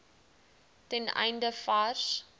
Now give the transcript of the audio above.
ten einde vars